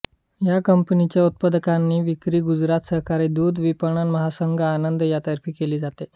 या कंपनीच्या उत्पादनांची विक्री गुजरात सहकारी दूध विपणन महासंघ आनंद यातर्फे केली जाते